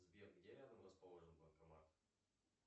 сбер где рядом расположен банкомат